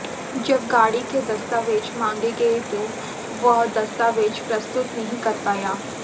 जब गाड़ी के दस्तावेज मांगे गये तो वह दस्तावेज प्रस्तुत नहीं कर पाया